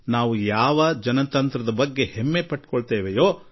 ಈ ಪ್ರಜಾಪ್ರಭುತ್ವದ ಬಗ್ಗೆ ನಾವು ಹೆಮ್ಮೆಪಡುತ್ತೇವೆ